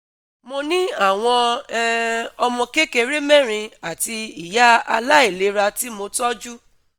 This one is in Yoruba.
Mo ní àwọn um ọmọ kékeré mẹ́rin àti ìyá aláìlera tí mo tọ́jú